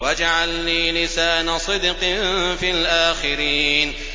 وَاجْعَل لِّي لِسَانَ صِدْقٍ فِي الْآخِرِينَ